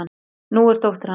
Nú ertu dóttir hans.